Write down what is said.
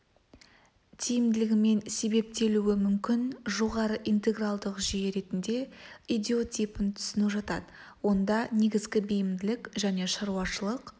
тиімділігімен себептелуі мүмкін жоғары интегралдық жүйе ретінде идиотипін түсіну жатады онда негізгі бейімділік және шаруашылық